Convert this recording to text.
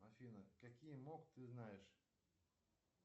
афина какие мок ты знаешь